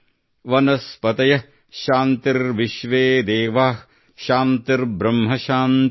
ವನಸ್ಪತಯಃಶಾಂತಿರ್ವಿಶ್ವೇದೇವಾಃಶಾಂತಿರ್ಬ್ರಹ್ಮಶಾಂತಿಃ